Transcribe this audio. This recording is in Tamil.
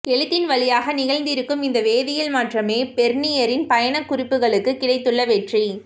எழுத்தின் வழியாக நிகழ்ந்திருக்கும் இந்த வேதியல் மாற்றமே பெர்னியரின் பயணக்குறிப்புகளுக்குக் கிடைத்துள்ள வெற்றி